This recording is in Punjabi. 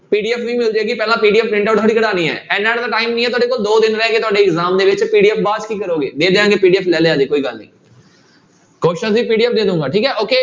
PDF ਵੀ ਮਿਲ ਜਾਏਗੀ ਪਹਿਲਾਂ PDF print out ਥੋੜੀ ਕਰਵਾਉਣੀ ਹੈ, ਇੰਨਾ ਤਾਂ time ਨੀ ਹੈ ਤੁਹਾਡੇ ਕੋਲ, ਦੋ ਦਿਨ ਰਹਿ ਗਏ ਤੁਹਾਡੇ exam ਦੇ ਵਿੱਚ ਤੇ PDF ਕੀ ਕਰੋਗੇ ਦੇ ਦਿਆਂਗੇ PDF ਲੈ ਕੋਈ ਗੱਲ ਨੀ question ਦੀ PDF ਦੇ ਦਊਂਗਾ ਠੀਕ ਹੈ okay